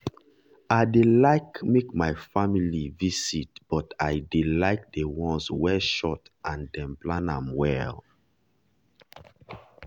i dey like make my family visit but i dey like the ones wey short and dem plan am well.